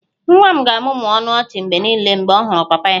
Nwa m ga-amụmụ ọnụ ọchị mgbe niile mgbe ọ hụrụ papa ya